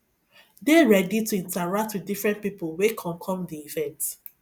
dey ready to interact with different pipo wey come come di event